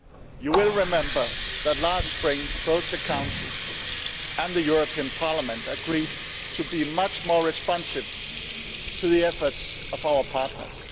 You will remember that last spring both the Council and the European Parliament agreed to be much more responsive to the efforts of our partners.